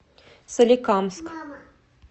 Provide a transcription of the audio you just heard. соликамск